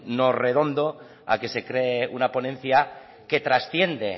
un no redondo a que se cree una ponencia que trasciende